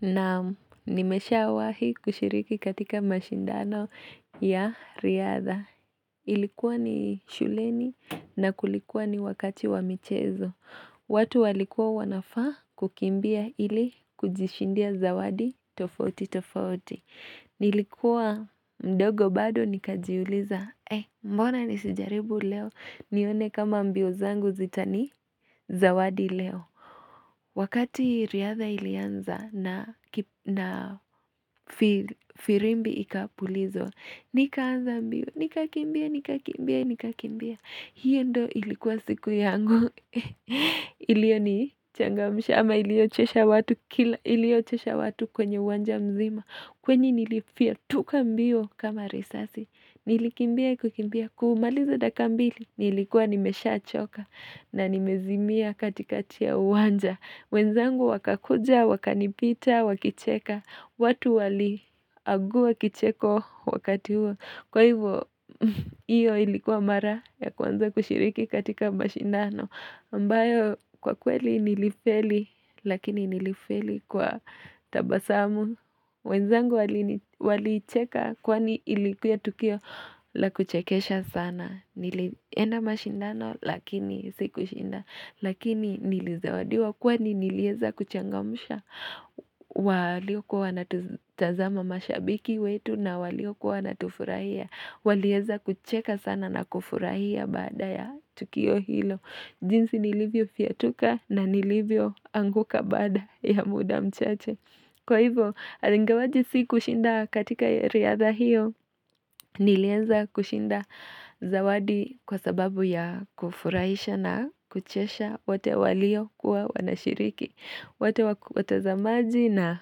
Na nimesha awahi kushiriki katika mashindano ya riadha. Ilikuwa ni shuleni na kulikuwa ni wakati wa michezo. Watu walikuwa wanafa kukimbia ili kujishindia zawadi tofauti tofauti Nilikuwa mdogo bado nikajiuliza eh mbona nisijaribu leo. Nione kama mbio zangu zitani zawadi leo. Wakati riadha ilianza na firimbi ikapulizwaobnikaanza mbio, nikakimbia, nikakimbia, nikakimbia. Hiyo ndo ilikuwa siku yangu. Ilio ni changa mshama iliochesha watu kwenye uwanja mzima. Kwenye nilifia tuka mbio kama risasi. Nilikimbia kukimbia kumaliza dakika mbili. Nilikuwa nimesha choka na nimezimia katika tia uwanja wenzangu wakakuja, wakanipita, wakicheka watu wali aguwa kicheko wakati huo Kwa hivyo, iyo ilikuwa mara ya kuwanza kushiriki katika mba shindano ambayo, kwa kweli nilifeli, lakini nilifeli kwa tabasamu wenzangu walicheka kwani ilikuwa tukio la kuchekesha sana Nilienda mashindano Lakini siku shinda Lakini nilize wadiwa Kwa ni nilieza kuchangamusha walio kuwa natutazama mashabiki wetu na walio kuwa Natufurahia walio kuwa natufurahia walio kuwa natufurahia jinsi nilivyo fiatuka na nilivyo anguka Baada ya muda mchache Kwa hivyo Alingawaji siku shinda katika riadha hiyo Nilienza kushinda zawadi kwa sababu ya kufurahisha na kuchesha wote walio kuwa wanashiriki, watazamaji na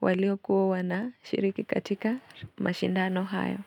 walio kuwa wanashiriki katika mashindano hayo.